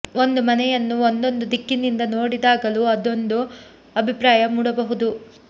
ಒಂದು ಮನೆಯನ್ನು ಒಂದೊಂದು ದಿಕ್ಕಿನಿಂದ ನೋಡಿ ದಾಗಲೂ ಒಂದೊಂದು ಅಭಿಪ್ರಾಯ ಮೂಡಬಹುದು